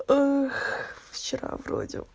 ах вчера вроде